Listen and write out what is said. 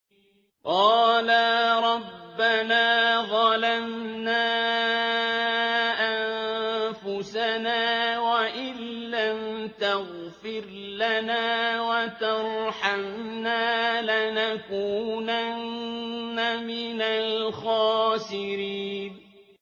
قَالَا رَبَّنَا ظَلَمْنَا أَنفُسَنَا وَإِن لَّمْ تَغْفِرْ لَنَا وَتَرْحَمْنَا لَنَكُونَنَّ مِنَ الْخَاسِرِينَ